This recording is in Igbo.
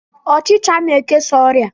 Ọchicha na-ekesa oria